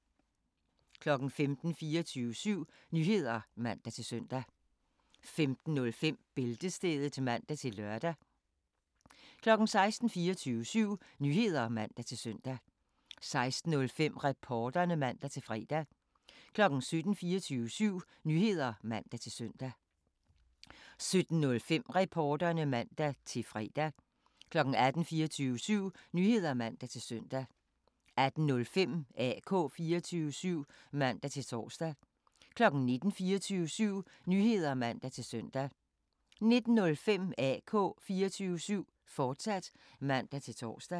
15:00: 24syv Nyheder (man-søn) 15:05: Bæltestedet (man-lør) 16:00: 24syv Nyheder (man-søn) 16:05: Reporterne (man-fre) 17:00: 24syv Nyheder (man-søn) 17:05: Reporterne (man-fre) 18:00: 24syv Nyheder (man-søn) 18:05: AK 24syv (man-tor) 19:00: 24syv Nyheder (man-søn) 19:05: AK 24syv, fortsat (man-tor)